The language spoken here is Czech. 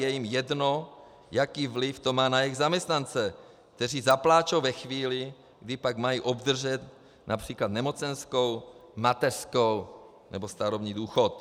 Je jim jedno, jaký vliv to má na jejich zaměstnance, kteří zapláčou ve chvíli, kdy pak mají obdržet například nemocenskou, mateřskou nebo starobní důchod.